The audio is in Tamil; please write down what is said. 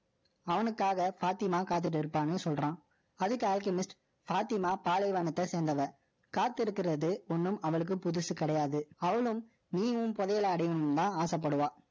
அவனுக்காக ஃபாத்திமா காத்திட்டு இருப்பான்னு சொல்றான். அதுக்கு Alchemist, பாத்திமா பாலைவனத்தை சேர்ந்தவ. காத்திருக்கிறது ஒண்ணும் அவளுக்கு புதுசு கிடையாது. அவளும் நீயும் புதையலை அடையணும்ன்னுதான் ஆசைப்படுவா